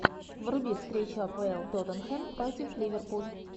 вруби встречу апл тоттенхэм против ливерпуль